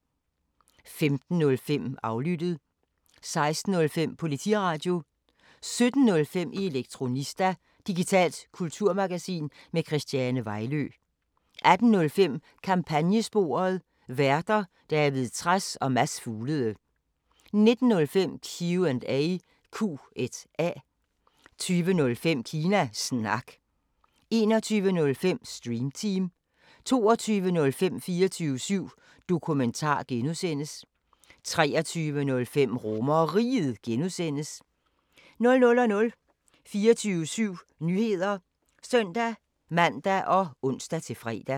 15:05: Aflyttet 16:05: Politiradio 17:05: Elektronista – digitalt kulturmagasin med Christiane Vejlø 18:05: Kampagnesporet: Værter: David Trads og Mads Fuglede 19:05: Q&A 20:05: Kina Snak 21:05: Stream Team 22:05: 24syv Dokumentar (G) 23:05: RomerRiget (G) 00:00: 24syv Nyheder (søn-man og ons-fre)